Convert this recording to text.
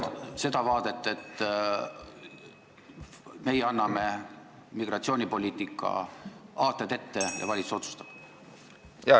... olla selline vaade, et meie anname migratsioonipoliitika aated ette ja valitsus otsustab?